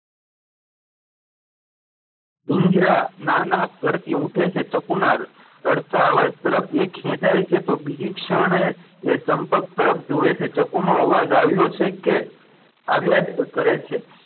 ઇન્દિરા ના ના કરતી ઊઠે છે ચકુના રડતા અવાજ તરફ એ ખેંચાય છે તો બીજી ક્ષણે એ ચંપક તરફ જુએ છે ચંપક નો અવાજ આવ્યો છે કે આવ્યા જ કરે છે.